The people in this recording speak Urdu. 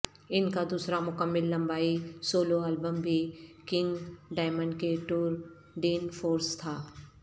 ان کا دوسرا مکمل لمبائی سولو البم بھی کنگ ڈائمنڈ کے ٹور ڈین فورس تھا